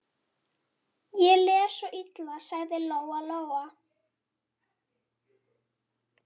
Ég les svo illa, sagði Lóa-Lóa.